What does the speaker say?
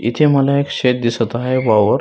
इथे मला एक शेत दिसत आहे वावर.